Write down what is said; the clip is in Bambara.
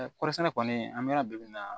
kɔɔrisɛnna kɔni an bɛ yɔrɔ bɛɛ bi na